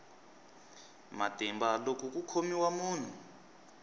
matimba loko ku khomiwa munhu